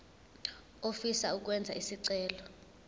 ofisa ukwenza isicelo